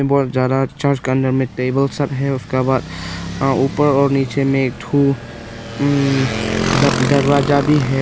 बहुत ज्यादा चर्च का अंदर में टेबल सब है उसका बाद ऊपर और नीचे में एक ठु अम दर दरवाजा भी है।